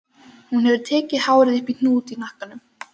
Hún hefur tekið hárið upp í hnút í hnakkanum.